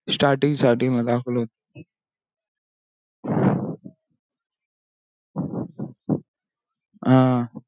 starting starting मध्ये दाखवला होता